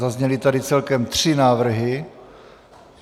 Zazněly tady celkem tři návrhy.